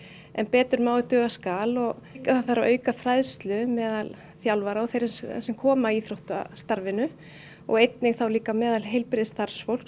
en betur má ef duga skal það þarf að auka fræðslu meðal þjálfara og þeirra sem koma að íþróttastarfinu og einnig meðal heilbrigðisstarfsfólks